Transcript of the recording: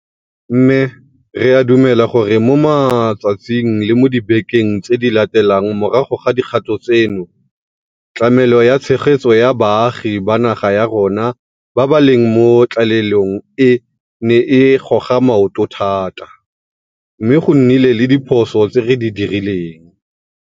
Mme re a dumela gore mo matsatsing le mo dibekeng tse di latelang morago ga dikgato tseno, tlamelo ya tshegetso ya baagi ba naga ya rona ba ba leng mo tlalelong e ne e goga maoto thata, mme go nnile le diphoso tse di dirilweng.